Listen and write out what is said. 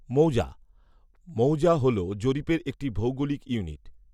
মৌজা, মৌজা হলো জরিপের একটি ভৌগোলিক ইউনিট